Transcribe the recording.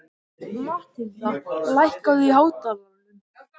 Mathilda, lækkaðu í hátalaranum.